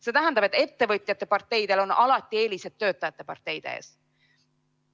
See tähendab, et ettevõtjate parteidel on alati eelised töötajate parteide ees.